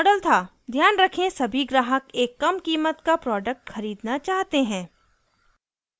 ध्यान रखें सभी ग्राहक एक कम कीमत का प्रोडक्ट खरीदना चाहते हैं